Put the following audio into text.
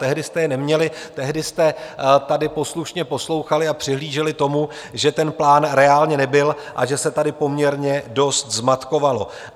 Tehdy jste je neměli, tehdy jste tady poslušně poslouchali a přihlíželi tomu, že ten plán reálně nebyl a že se tady poměrně dost zmatkovalo.